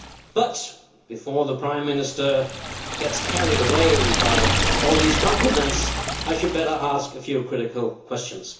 But, before the Prime Minister gets carried away by all these compliments, I had better ask a few critical questions.